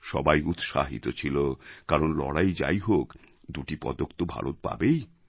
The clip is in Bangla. সবাই উৎসাহিত ছিল কারণ লড়াই যাই হোক দুটি পদক তো ভারত পাবেই